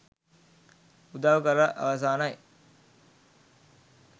උදව් කර අවසානයි.